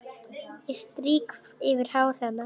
Ég strýk yfir hár hennar.